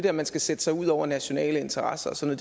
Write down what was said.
at man skal sætte sig ud over nationale interesser og sådan